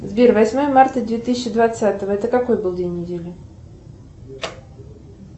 сбер восьмое марта две тысячи двадцатого это какой был день недели